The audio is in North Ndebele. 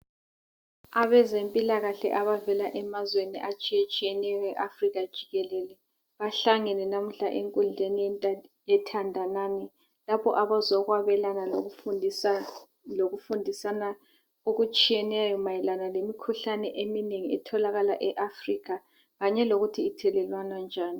Abezempilakahle ababeka emazweni atshiyetshiyeneyo awe Africa jikelele bahlangene namuhla enkundleni yethandanani lapho abazokwabelana lokufundisana ngokutshiyeneyo mayelana ngemikhuhlane eminengi etholakala e Africa kanyelokuthi ithelelwana njani